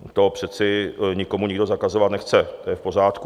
To přece nikomu nikdo zakazovat nechce, to je v pořádku.